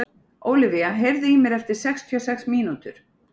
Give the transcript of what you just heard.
Ólivía, heyrðu í mér eftir sextíu og sex mínútur.